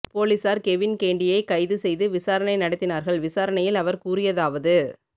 போலீசார் கெவின் கேண்டியை கைது செய்து விசாரணை நடத்தினார்கள் விசாரணையில் அவர் கூறியதாவது